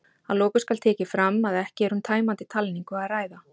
Að lokum skal tekið fram að ekki er um tæmandi talningu að ræða.